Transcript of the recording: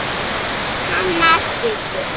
Hennar hluti.